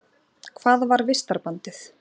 Hvað var vistarbandið?